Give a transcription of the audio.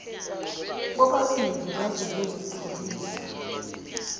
bobabili baze bazithulisa